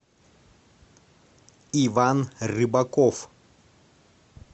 иван рыбаков